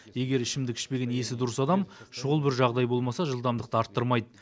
егер ішімдік ішпеген есі дұрыс адам шұғыл бір жағдай болмаса жылдамдықты арттырмайды